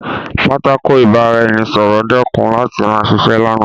Pátákó ìbára-ẹni-sọ̀rọ̀ dẹ́kun láti ma ṣiṣẹ́ lánàá